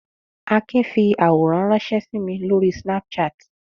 Akin fi àwòrán ránṣẹ́ sí mi lórí Snapchat.